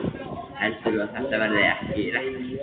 Heldurðu að þetta verði ekki lekkert?